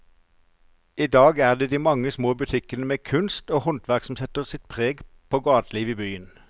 I dag er det de mange små butikkene med kunst og håndverk som setter sitt preg på gatelivet i byen.